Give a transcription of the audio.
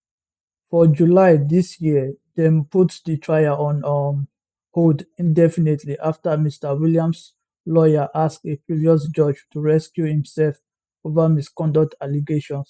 for july dis yeardem put di trial on um hold indefinitelyafter mr williams lawyers ask a previous judge to recuse imself over misconduct allegations